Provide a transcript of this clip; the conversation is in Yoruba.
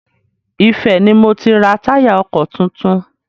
Ifẹ̀ ni mo ti ra táyà ọkọ̀ tuntun.